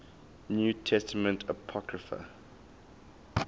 new testament apocrypha